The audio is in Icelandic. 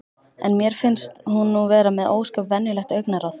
En mér finnst hún nú vera með ósköp venjulegt augnaráð.